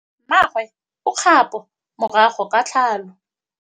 Mmagwe o kgapô morago ga tlhalô.